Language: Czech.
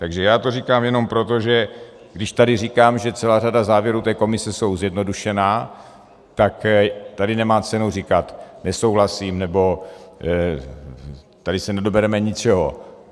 Takže já to říkám jenom proto, že když tady říkám, že celá řada závěrů té komise jsou zjednodušená, tak tady nemá cenu říkat nesouhlasím, nebo tady se nedobereme ničeho.